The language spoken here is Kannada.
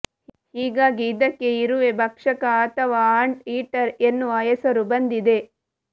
ಹೀಗಾಗಿ ಇದಕ್ಕೆ ಇರುವೆ ಭಕ್ಷಕ ಅಥವಾ ಆಂಟ್ ಈಟರ್ ಎನ್ನುವ ಹೆಸರು ಬಂದಿದೆ